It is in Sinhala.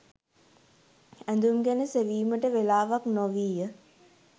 ඇඳුම් ගැන සෙවීමට වෙලාවක් නොවීය.